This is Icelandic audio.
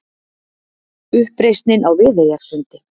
Uppreisnin á Viðeyjarsundi.